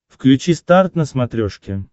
включи старт на смотрешке